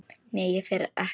Nei, ég fer ekkert.